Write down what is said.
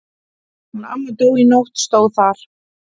Hún amma dó í nótt stóð þar.